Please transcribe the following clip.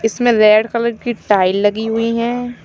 इसमें red colour की tile लगी हुई हैं।